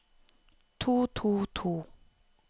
to to to